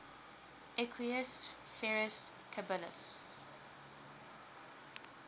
equus ferus caballus